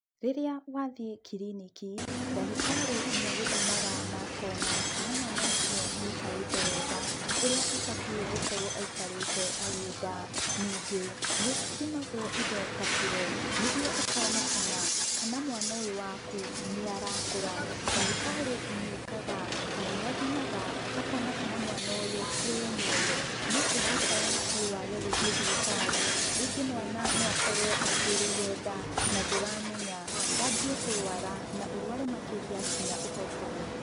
Rĩrĩa wathiĩ kiriniki, ndagĩtarĩ nĩagũthimaga na akona kana mwana ũcio nĩaikarĩte wega, ũrĩa abatiĩ gũkorũo aikarĩte arĩ nda. Ningĩ, nĩũthimagũo indo ka kiro, nĩguo ũkonekana kana mwana ũyũ waku, nĩarakũra. Ndagĩtarĩ nĩekaga, kana nĩathimaga, akona kana mwana ũyũ, arĩ o muoyo. No ũngĩikara mũciĩ wage gũthiĩ thibitarĩ, rĩngĩ mwana no akorũo akuĩrĩire nda, na ndũramenya, wanjie kũrũara, na ũrũare makĩria, kinya ũhotũo.